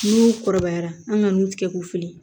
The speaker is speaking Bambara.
N'u kɔrɔbayara an ka nun tigɛ k'u fili